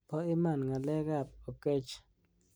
�bo iman nga'alek ab Oketch.